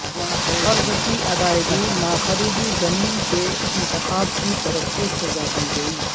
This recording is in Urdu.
قرض کی ادائیگی نہ خریدی زمین کے انتخاب کی طرف سے سزا دی گئی